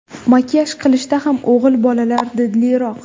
Makiyaj qilishda ham o‘g‘il bolalar didliroq.